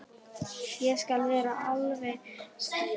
Ég skal vera alveg skýr.